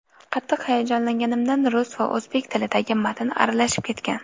Qattiq hayajonlanganimdan rus va o‘zbek tilidagi matn aralashib ketgan.